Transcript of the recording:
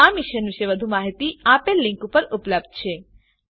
આ મિશન પર વધુ માહિતી નીચે આપેલ લીંક પર ઉપલબ્ધ છે